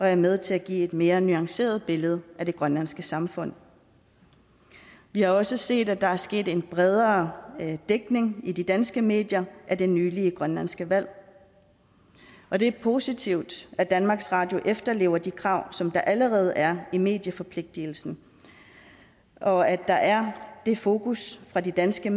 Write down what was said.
er med til at give et mere nuanceret billede af det grønlandske samfund vi har også set at der er sket en bredere dækning i de danske medier af det nylig grønlandske valg og det er positivt at danmarks radio efterlever de krav som der allerede er i medieforpligtelsen og at der er det fokus fra de danske